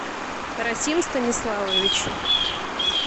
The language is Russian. расим станиславович